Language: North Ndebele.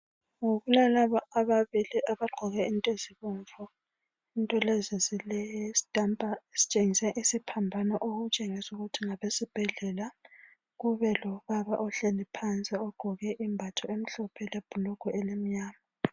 Kulalaba ababili abagqoke izinto ezibomvu into lezi zilesitampa esitshengisa isiphambano okutshengisa ukuthi ngabesibhedlela, kubelobaba ohlezi phansi ogqoke imbatho emhlophe lebhulugwe elimnyama.